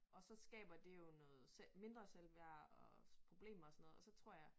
Og så skaber det jo noget mindre selvværd og problemer og sådan noget og så tror jeg